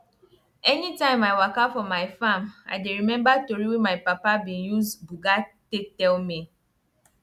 anytime i walka for my farm i dey remember tori wey my papa be use buga take tell me